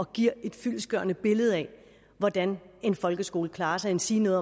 giver et fyldestgørende billede af hvordan en folkeskole klarer sig endsige